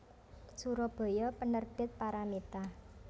Surabaya Penerbit Paramitha